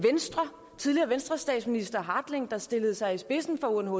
tidligere venstrestatsminister hartling der stillede sig i spidsen for unhcr